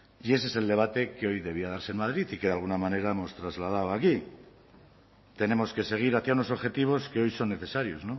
y ese es el debate que hoy debía darse en madrid y que de alguna manera hemos trasladado aquí tenemos que seguir hacia unos objetivos que hoy son necesarios